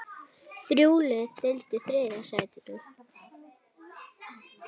Þrjú lið deildu þriðja sætinu.